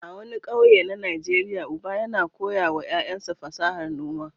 A wani ƙauye na Najeriya, uba yana koya wa ƴaƴansa fasahar noma.